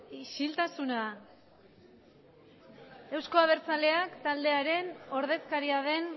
isiltasuna euzko abertzaleak taldearen ordezkaria den